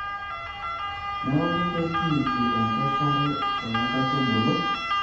neeku keikiti enkeshare too nkaitubulu